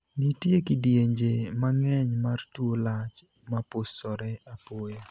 Nitie kidienje mang'eny mar tuo lach mapusore apoya.